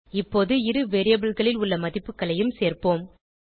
இப்போது இரு variableகளில் உள்ள மதிப்புகளையும் சேர்ப்போம்